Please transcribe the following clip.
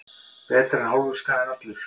Betra er hálfur skaði en allur.